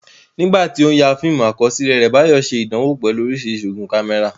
Nígbà tí ó ń ya fíìmù àkọsílẹ̀ rẹ̀, Bayo ṣe ìdánwò pẹ̀lú oríṣiríṣi igun kámẹ́rà.